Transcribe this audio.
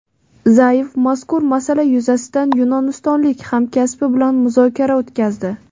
Zayev mazkur masala yuzasidan yunonistonlik hamkasbi bilan muzokara o‘tkazdi.